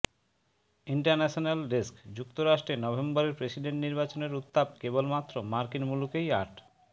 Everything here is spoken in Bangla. ইন্টারন্যাশনাল ডেস্কঃ যুক্তরাষ্ট্রে নভেম্বরের প্রেসিডেন্ট নির্বাচনের উত্তাপ কেবলমাত্র মার্কিন মুলুকেই আট